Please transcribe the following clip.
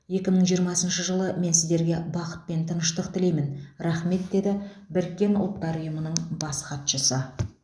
екі мың жиырмасыншы жылы мен сіздерге бақыт пен тыныштық тілеймін рахмет деді біріккен ұлттар ұйымының бас хатшысы